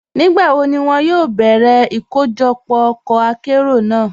Nígbàwó ni wọn yóò bẹ̀rẹ́ ikọ́jọpọ́ ọkọ àkéró náà?